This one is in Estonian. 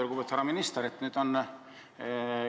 Lugupeetud härra minister!